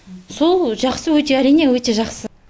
сол жақсы өте арине өте жақсы